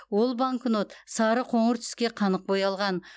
ол банкнот сары қоңыр түске қанық боялған